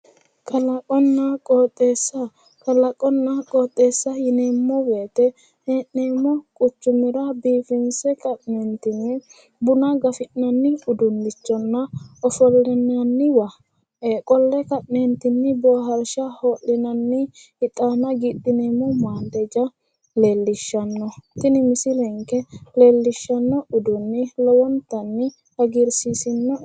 Kalaqonna qooxeessa kalaqonna qooxeessa yineemmo woyite hee'neemmo quchumira biifinse ka'neentinni buna gafi'nanni uduunnichonna ofollinanniwa qolle ka'neentinni boohaarsha hoo'linanni ixaana giidhineemmo maandeja leellishanno tini misile leellishanno uduunnichi lowontanni hagiirsiisino'e